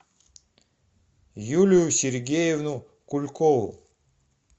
юлию сергеевну кулькову